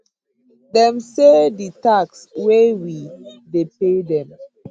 dem say di tax wey we dey pay dem